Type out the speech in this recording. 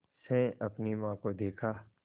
से अपनी माँ को देखा